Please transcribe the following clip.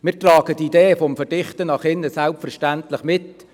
Wir tragen die Idee des Verdichtens nach innen selbstverständlich mit.